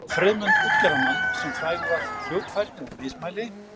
Friðmund útgerðarmann, sem frægur var fyrir fljótfærni og mismæli.